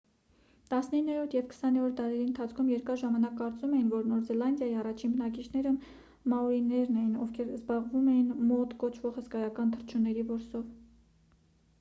տասնիններորդ և քսաներորդ դարերի ընթացքում երկար ժամանակ կարծում էին որ նոր զելանդիայի առաջին բնակիչները մաորիներն էին ովքեր զբաղվում էին մոա կոչվող հսկայական թռչունների որսով